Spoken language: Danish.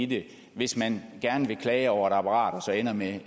det hvis man gerne vil klage over et apparat og så ender med